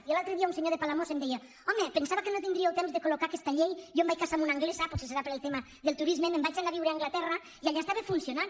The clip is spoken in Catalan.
i l’altre dia un senyor de palamós em deia home pensava que no tindríeu temps de colamb una anglesa potser deu ser pel tema del turisme me’n vaig anar a viure a anglaterra i allà estava funcionant